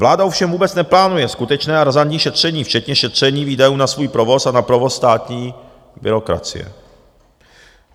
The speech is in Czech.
Vláda ovšem vůbec neplánuje skutečné a razantní šetření, včetně šetření výdajů na svůj provoz a na provoz státní byrokracie.